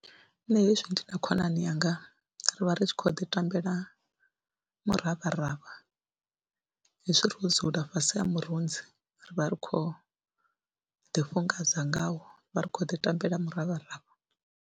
Nṋe hezwi ndi na khonani yanga ri vha ri tshi khou ḓi tambela miravharavha hezwi ro dzula fhasi ha murunzi ri vha ri khou ḓifhungadza ngawo, ri vha ri khou ḓi tambela miravharavha.